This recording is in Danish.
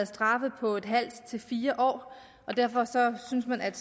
straffe på en halv fire år og derfor synes man at